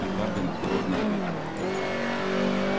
и хардин осторожно ответил